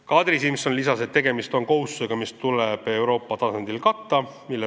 Kadri Simson lisas, et tegemist on kohustusega, mis tuleb Euroopa tasandil katta.